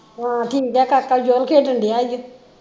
ਹੋਰ ਠੀਕ ਆ ਕਾਕਾ ਜੋਨ ਖੇਡਣ ਦਿਆ ਈ ਓ